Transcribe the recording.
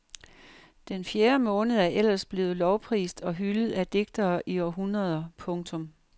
Den fjerde måned er ellers blevet lovprist og hyldet af digtere i århundreder. punktum